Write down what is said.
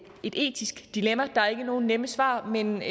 et etisk dilemma der er ikke nogen nemme svar men